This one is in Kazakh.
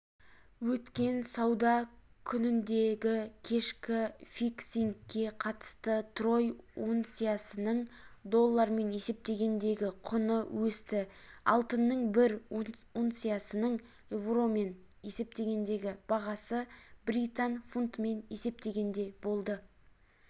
өткен сауда күніндегікешкі фиксингке қатысты трой унциясының доллармен есептегендегі құны өсті алтынның бір унциясының еуромен есептегендегі бағасы британ фунтымен есептегенде болды